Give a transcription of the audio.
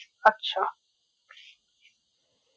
আচ্ছা